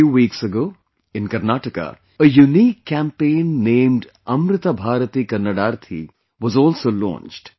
A few weeks ago, in Karnataka, a unique campaign named Amrita Bharathi Kannadarthi was also launched